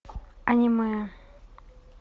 аниме